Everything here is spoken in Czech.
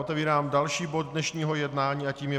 Otevírám další bod dnešního jednání a tím je